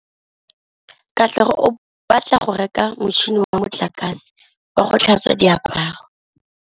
Katlego o batla go reka motšhine wa motlakase wa go tlhatswa diaparo.